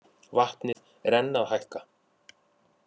Vatnið enn að hækka